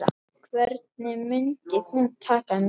Hvernig mundi hún taka mér?